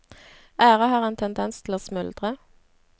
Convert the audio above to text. Ære har en tendens til å smuldre.